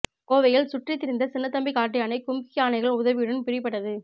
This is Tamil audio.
கோவையில் சுற்றி திரிந்த சின்னத்தம்பி காட்டுயானை கும்கி யானைகள் உதவியுடன் பிடிபட்டது